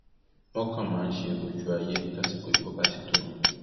wọn kàn máa ń ṣe ojú ayé tásìkò ìbò bá ti tó ni